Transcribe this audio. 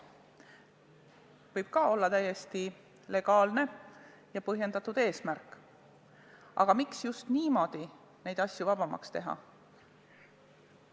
See võib olla täiesti legaalne ja põhjendatud eesmärk, aga miks just niimoodi neid asju vabamaks teha?